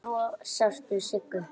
Svo sástu Siggu.